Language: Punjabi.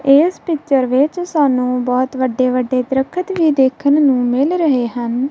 ਇਸ ਪਿਕਚਰ ਵਿੱਚ ਸਾਨੂੰ ਬਹੁਤ ਵੱਡੇ ਵੱਡੇ ਦਰੱਖਤ ਵੀ ਦੇਖਣ ਨੂੰ ਮਿਲ ਰਹੇ ਹਨ।